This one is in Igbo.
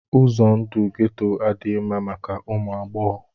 Ụzọ ndụ geto adịghị mma maka ụmụ agbọghọ